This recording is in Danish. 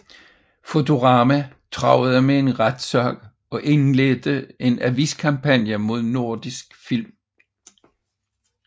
Fotorama truede med retssag og indledte en aviskampagne mod Nordisk Film